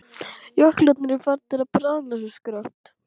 Jöklarnir eru farnir að bráðna svo skarpt.